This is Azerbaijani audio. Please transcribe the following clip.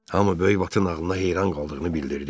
Hamı böyük Vatın ağılına heyran qaldığını bildirdi.